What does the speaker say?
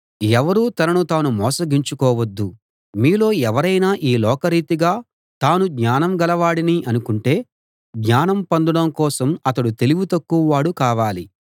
ఎవరూ తనను తాను మోసగించుకోవద్దు మీలో ఎవరైనా ఈ లోకరీతిగా తాను జ్ఞానం గలవాడిని అనుకుంటే జ్ఞానం పొందడం కోసం అతడు తెలివి తక్కువవాడు కావాలి